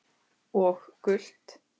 Og gult?